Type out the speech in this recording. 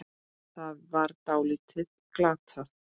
Það var því dálítið glatað.